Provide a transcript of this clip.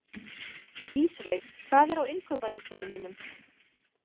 Ísveig, hvað er á innkaupalistanum mínum?